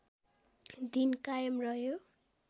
दिन कायम रह्यो